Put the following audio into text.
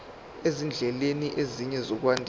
nezindlela ezinye zokwandisa